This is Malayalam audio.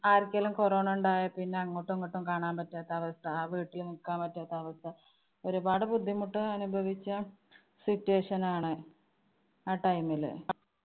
ആർക്കേലും corona ഉണ്ടായാൽ പിന്നെ അങ്ങോട്ടും ഇങ്ങോട്ടും കാണാന്‍ പറ്റാത്ത അവസ്ഥ. ആ വീട്ടില് നിക്കാന്‍ പറ്റാത്ത അവസ്ഥ. ഒരുപാട് ബുദ്ധിമുട്ട് അനുഭവിച്ച situation ആണ്. ആ time ല്